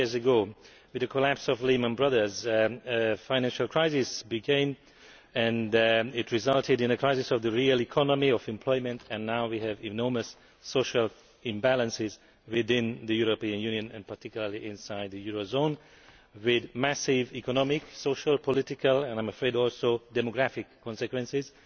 Five years ago, with the collapse of Lehman Brothers, a financial crisis came and it resulted in a crisis of the real economy, of employment, and now we have enormous social imbalances within the European Union and, particularly, inside the euro zone, with massive economic, social, political and, I am afraid, also demographic consequences.